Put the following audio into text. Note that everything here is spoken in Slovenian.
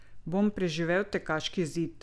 Bom preživel tekaški zid?